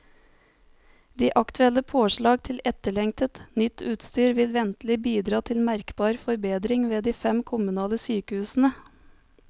De aktuelle påslag til etterlengtet, nytt utstyr vil ventelig bidra til merkbar forbedring ved de fem kommunale sykehusene.